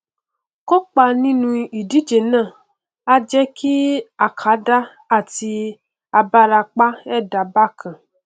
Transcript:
kópa nínú ìdíje náà a jẹ àkàndá àti abarapa ẹdá bákan